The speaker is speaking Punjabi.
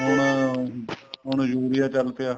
ਹੁਣ ਹੁਣ urea ਚੱਲ ਪਿਆ